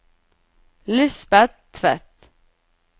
Lisbeth Tvedt